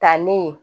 Ta ni